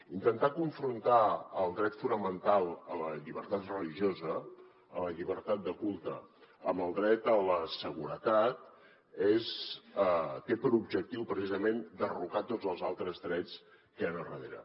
intentar confrontar el dret fonamental a la llibertat religiosa a la llibertat de culte amb el dret a la seguretat té per objectiu precisament derrocar tots els altres drets que hi han a darrere